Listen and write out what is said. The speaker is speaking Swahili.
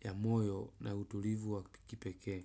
ya moyo na utulivu wa kipekee.